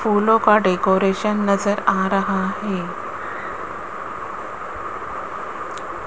फूलों का डेकोरेशन नज़र आ रहा है।